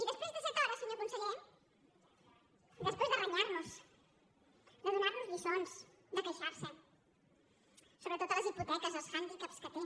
i després de set hores senyor conseller després de renyar nos de donar nos lliçons de queixar se sobretot de les hipoteques dels handicaps que té